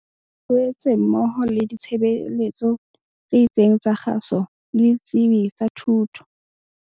Loetse mmoho le ditshebeletso tse itseng tsa kgaso le ditsebi tsa thuto.